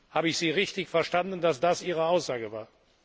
Habe ich Sie richtig verstanden, dass das Ihre Aussage war?